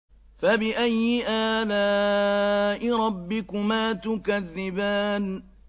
فَبِأَيِّ آلَاءِ رَبِّكُمَا تُكَذِّبَانِ